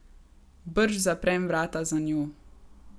Brž zaprem vrata za njo.